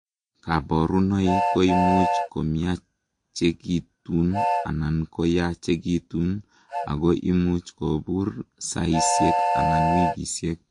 kaborunoik koimuch komiachekitun anan koyachekitun ,ako imuchi kobur saisiek anan wikisiek